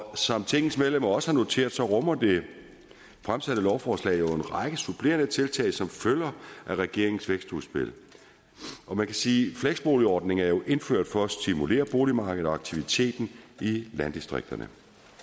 som tingets medlemmer også har noteret sig rummer det fremsatte lovforslag jo en række supplerende tiltag som følger af regeringens vækstudspil man kan sige at fleksboligordningen jo er indført for at stimulere boligmarkedet og aktiviteten i landdistrikterne